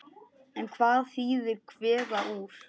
En hvað þýðir kveða úr?